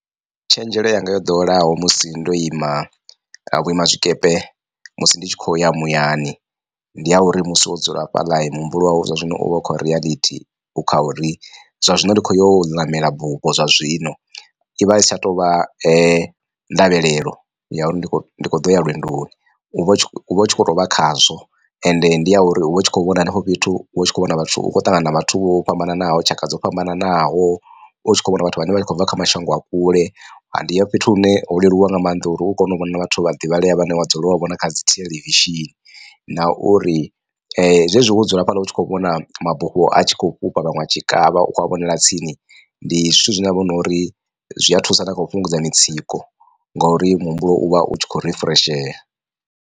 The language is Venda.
Tshenzhelo yanga yo ḓoweleaho musi ndo ima vhuima tshikepe musi ndi tshi khou ya muyani ndi ya uri musi wo dzula afhaḽa muhumbulo wau zwa zwino uvha ukha reality u kha uri zwa zwino ndi kho yo ṋamela bufho zwa zwino. I vha i si tsha tovha ndavhelelo ya uri ndi khou ndi kho ḓo ya lwendoni u vha u tshi uvha u tshi kho to vha khazwo ende ndi ya uri uvha u tshi kho vhona henefho fhethu uvha u tshi kho vhona vhathu vha khou ṱangana na vhathu vho fhambananaho tshaka dzo fhambananaho u tshi kho vhona vhathu vhane vha khou bva kha mashango a kule ndi ya fhethu hune ho leluwa nga maanḓa uri u kone u vhona vhathu vha divhalea vhane vha dzula wa vhona kha dzi theḽevishini. Na uri zwezwi wo dzula hafhaḽa utshi kho vhona mabufho a tshi kho fhufha vhaṅwe a tshi kavha ukho a vhonela tsini ndi zwithu zwine ha vha hu no uri zwi a thusa na kha u fhungudza mitsiko ngori muhumbulo uvha u tshi khou refreshea.